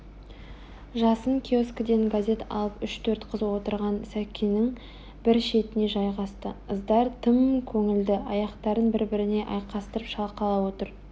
жасын киоскіден газет алып үш-төрт қыз отырған сәкінің бір шетіне жайғасты ыздар тым көңілді аяқтарын бір-біріне айқастырып шалқалап отыр